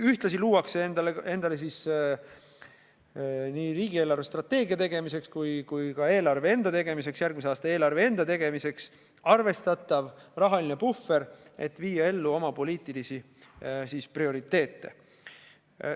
Ühtlasi luuakse endale nii riigi eelarvestrateegia tegemiseks kui ka eelarve enda tegemiseks, järgmise aasta eelarve enda tegemiseks arvestatav rahaline puhver, et viia ellu oma poliitilisi prioriteete.